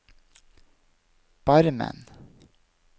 Barmen